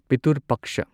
Pitru ꯄꯛꯁꯥ